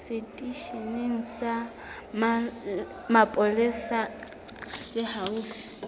seteisheneng sa mapolesa se haufi